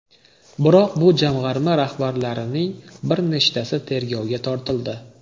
Biroq bu jamg‘arma rahbarlarining bir nechtasi tergovga tortildi.